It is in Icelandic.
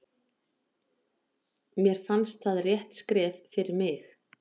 Mér fannst það rétt skref fyrir mig.